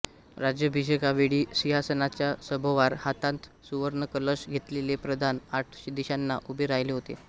राज्याभिषेकावेळी सिंहासनाच्या सभोवार हातांत सुवर्णकलश घेतलेले प्रधान आठ दिशांना उभे राहिले होते